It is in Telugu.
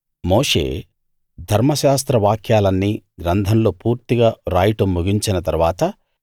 మోషే ధర్మశాస్త్ర వాక్యాలన్నీ గ్రంథంలో పూర్తిగా రాయడం ముగించిన తరువాత